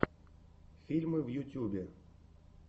фильмы в ютьюбе